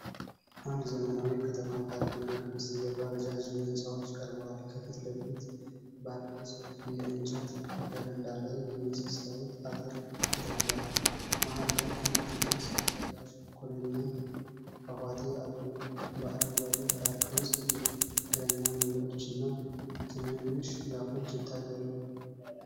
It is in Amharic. አንድ ዘመናዊ የከተማ ፓርክና ከበስተጀርባ ረዣዥም ሕንፃዎች ቀርበዋል። ከፊት ለፊት ባለው ሰፊ የእንጨት በረንዳ ላይ የመስታወት አጥር ተተክሏል። መሃል ላይ አንድ ትልቅ ሰው ሠራሽ ኩሬና ፏፏቴ አሉ። በአረንጓዴው ፓርክ ውስጥ የእግረኛ መንገዶችና ትናንሽ ዛፎች ይታያሉ።